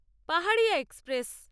Paharia express